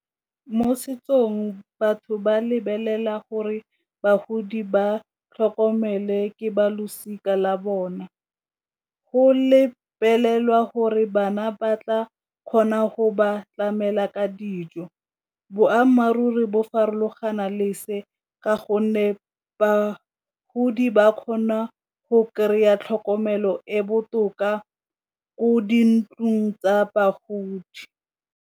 Mo setsong batho ba lebelela gore bagodi ba tlhokomele ke balosika la bone, go lebelelwa gore bana ba tla kgona go ba tlamela ka dijo boammaaruri bo farologana lese ka gonne bagodi ba kgona go kry-a tlhokomelo e botoka ko di ntlong tsa bagodi.